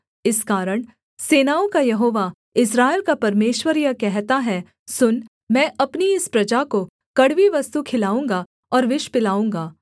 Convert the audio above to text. इस कारण सेनाओं का यहोवा इस्राएल का परमेश्वर यह कहता है सुन मैं अपनी इस प्रजा को कड़वी वस्तु खिलाऊँगा और विष पिलाऊँगा